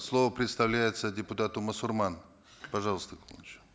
слово предоставляется депутату мусурман пожалуйста